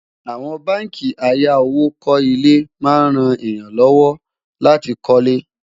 àwọn bánkì àyà owó kò ilé má ń ràn èyán ló wò láti kò lè